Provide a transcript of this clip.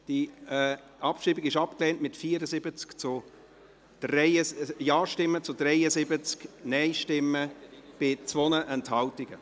Die Abschreibung ist abgelehnt, mit 74 Ja- gegen 73 Nein-Stimmen bei 2 Enthaltungen.